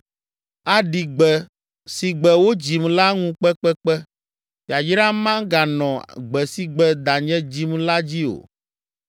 Aɖi gbe si gbe wodzim la ŋu kpekpekpe. Yayra meganɔ gbe si gbe danye dzim la dzi o!